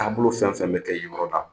Taabolo bolo fɛn fɛn bɛ kɛ yen yɔrɔ la,